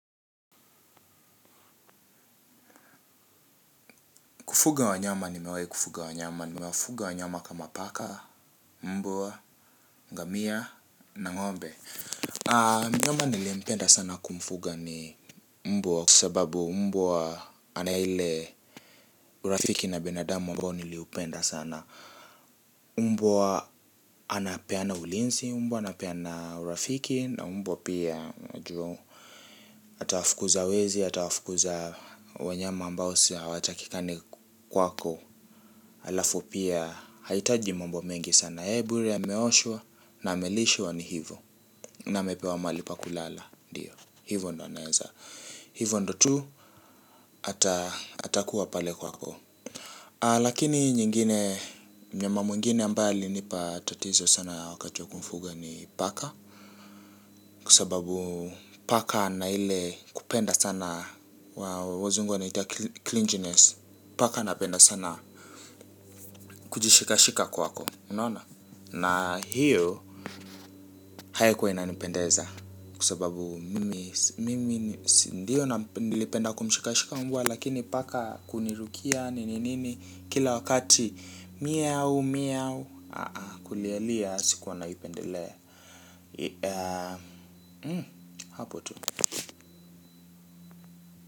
Kufuga wanyama nimewai kufuga wanyama, nimewafuga wanyama kama paka, mbwaa, ngamia, na ng'ombe. Mnyama nilimpenda sana kumfuga ni mbwa kwa sababu mbwa ana ile urafiki na binadamu ambao niliupenda sana. Mbwa anapeana ulinzi, mbwa anapeana urafiki, na mbwa pia unajua. Atawafukuza wezi, atawafukuza wanyama ambao usi hawatakikani kwako. Halafu pia hahitaji mambo mengi sana yeye bure ameoshwa na amelishwa ni hivo. Na amepewa mahali pa kulala. Ndiyo hivo ndo naeza. Hivo ndo tu atakuwa pale kwako. Lakini nyingine mnyama mwngine ambaye alinipa tatizo sana wakati wa kumfuga ni paka. Kwa sababu paka ana ile kupenda sana wazungu wanaita clinginess. Paka anapenda sana kujishikashika kwako. Na hiyo haikuwa inanipendeza kwa sababu mimi si ndio nilipenda kumshikashika mbwa. Lakini paka kunirukia nini nini. Kila wakati meow meow kulialia sikuwa naipendelea. Hapo tu.